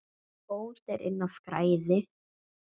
Bót er inn af græði.